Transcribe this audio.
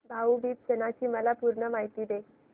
भाऊ बीज सणाची मला पूर्ण माहिती दे